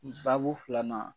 Sabu filanan